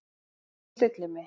En ég stilli mig.